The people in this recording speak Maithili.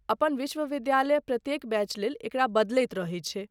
अपन विश्वविद्यालय प्रत्येक बैच लेल एकरा बदलैत रहै छै।